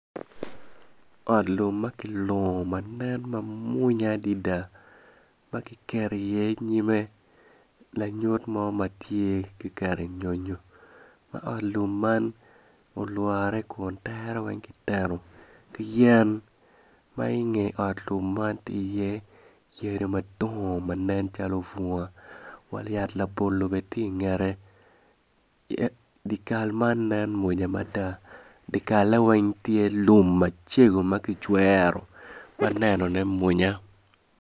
Ot lum ma kilungo ma nen mwonya adada ma kiketo iye nyime lanyut mo ma tye kiketo nyonyo ma ot lum olwore kun tere weng kitengo ki yen ma inge ot lum man tye iye yadi madongo ma nen calo bunga wa yat labolo bene tye ingete dye kal man nen mwonya mada dye kal weng tye lum macego ma kicwero ma nene mwonya.